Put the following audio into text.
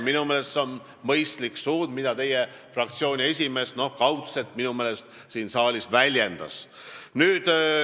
Minu meelest on see mõistlik suund, mida teie fraktsiooni esimees – kaudselt, minu meelest – siin saalis väljendas.